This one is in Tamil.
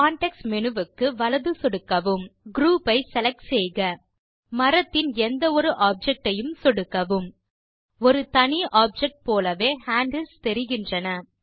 கான்டெக்ஸ்ட் மேனு க்கு வலது சொடுக்கவும் குரூப் ஐ செலக்ட் செய்க மரத்தின் எந்த ஒரு ஆப்ஜெக்ட் ஐயும் சொடுக்கவும் ஒரு தனி ஆப்ஜெக்ட் போலவே ஹேண்டில்ஸ் தெரிகின்றன